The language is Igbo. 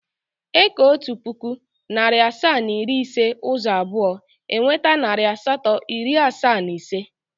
E kee otu puku, narị asaa na iri ise ụzọ abụọ, e nweta narị asatọ, iri asaa na ise.